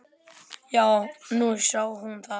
Jú, nú sá hún það.